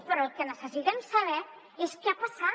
però el que necessitem saber és què ha passat